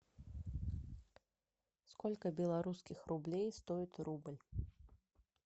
сколько белорусских рублей стоит рубль